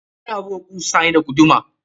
Ana buga kusa ne da guduma.